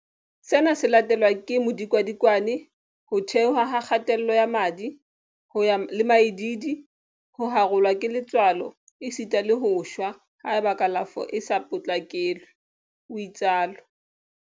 Sena se latelwa ke modikadikwane, ho theoha ha kgatello ya madi, ho ya le maidiidi, ho harolwa ke letswalo esita le ho shwa haeba kalafo e sa potlakelwe, o itsalo.